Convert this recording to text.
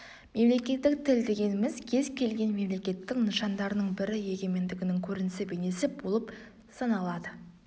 мемлекеттік тіл дегеніміз кез келген мемлекеттің нышандарының бірі егемендігінің көрінісі бейнесі болып саналады